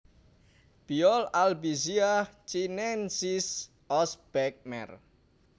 Biol Albizia chinensis Osbeck Merr